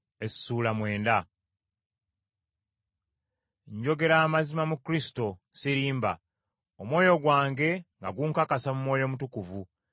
Njogera amazima mu Kristo, sirimba, omwoyo gwange nga gunkakasa mu Mwoyo Mutukuvu,